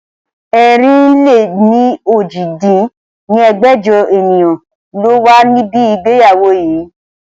ẹ̀rin-lé-ní-ojì dín ní ẹgbẹ́jọ ènìyàn ló wà níbi ìgbéyàwó yii